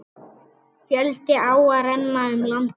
Fjölda áa renna um landið.